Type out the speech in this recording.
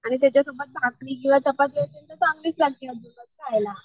आणि त्याच्या सोबत भाकरी किंवा चपाती असेल तर चांगलीच लागते मग खायला.